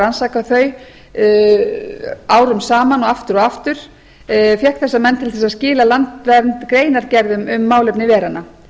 rannsakað þau árum saman og aftur og aftur til að skila landvernd greinargerðum um málefni veranna